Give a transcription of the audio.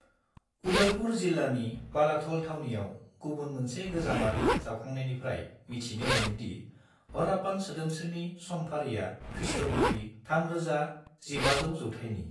उदयपुर जिल्लानि बालाथल थावनियाव गुबुन मोनसे गोजामारि जावखांनायनिफ्राय मिथिनो मोनो दि हार्रापान सोदोमस्रिनि समफारिया खृ.गिबि 3000-1500 जौथाइनि।